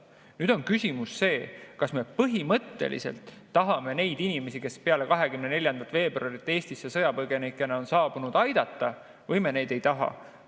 Nüüd on küsimus see, kas me põhimõtteliselt tahame neid inimesi, kes pärast 24. veebruari Eestisse sõjapõgenikena saabunud on, aidata või me ei taha neid aidata.